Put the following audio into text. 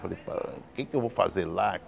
Falei, o que é que eu vou fazer lá?